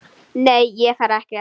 Nei, ég fer ekkert.